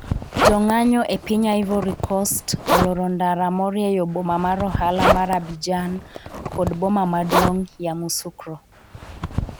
jo ng'anyo e piny Ivory Coast, oloro ndara morieyo boma mar ohala mar Abidjan kod boma maduong' Yamoussoukro.